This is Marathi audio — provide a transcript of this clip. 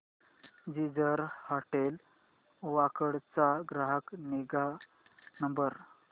जिंजर हॉटेल वाकड चा ग्राहक निगा नंबर